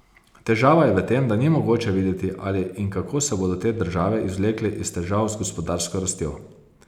Težava je v tem, da ni mogoče videti, ali in kako se bodo te države izvlekle iz težav z gospodarsko rastjo.